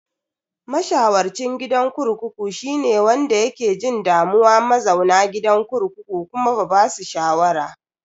Masharwacin gidan kurkuku shine wanda yake jin damuwa mazauna gidan kurkukun kuma ba basu shawara.